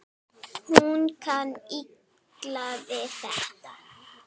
Hún kann illa við þetta.